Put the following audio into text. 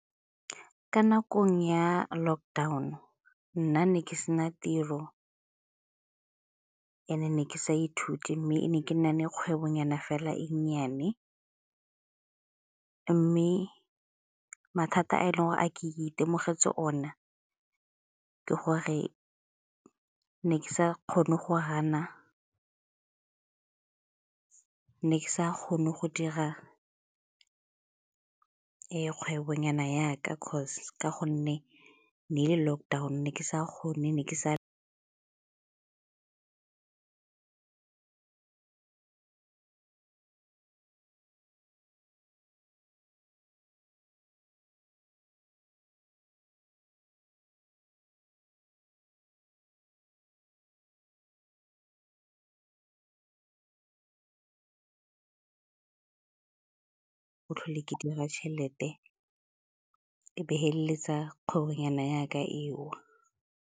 Ka nakong ya lockdown-o nna ne ke sena tiro, and-e ne ke sa ithute mme ne ke na le kgwebonyana fela e nnyane mme mathata a e leng gore a ke itemogetse ona ke gore ne ke sa kgone go gana, ne ke sa kgone go dira kgwebonyana ya ka 'cause ka gonne ne e le lockdown, ne ke sa kgone ne ke sa tlhole ke dira tšhelete e be e feleletsa kgwebonyana ya ka e.